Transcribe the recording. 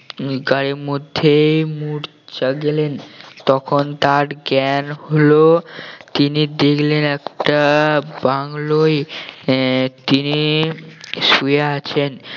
উম গাড়ির মধ্যেই মূর্ছা গেলেন তখন তার জ্ঞান হল তিনি দেখলেন একটা বাংলোয় আহ তিনি শুয়ে আছেন